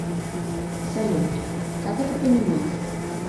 салют как это понимать